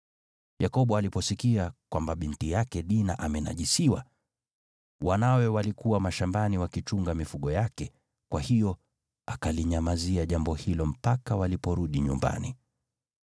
Yakobo aliposikia kwamba binti yake Dina amenajisiwa, wanawe walikuwa mashambani wakichunga mifugo yake, kwa hiyo akalinyamazia jambo hilo mpaka waliporudi nyumbani.